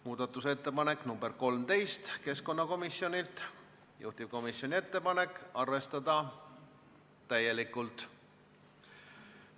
Muudatusettepanek nr 13 on keskkonnakomisjonilt, juhtivkomisjoni ettepanek on arvestada täielikult.